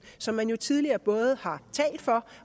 som man jo tidligere både har talt for